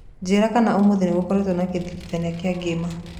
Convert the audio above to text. njĩĩra kanaũmũthĩ nigukoretwo na githingithia thĩĩ ng'ima